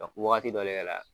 Waagati dɔ de kɛra la.